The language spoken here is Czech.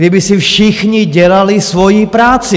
Kdyby si všichni dělali svoji práci.